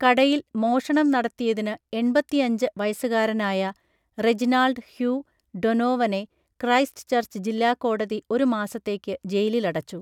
കടയിൽ മോഷണം നടത്തിയതിന് എൺപത്തിയഞ്ച് വയസ്സുകാരനായ റെജിനാൾഡ് ഹ്യൂ ഡൊനോവനെ, ക്രൈസ്റ്റ് ചർച്ച് ജില്ലാ കോടതി ഒരു മാസത്തേക്ക് ജയിലിലടച്ചു..